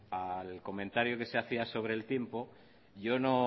al comentario que se hacía sobre el tiempo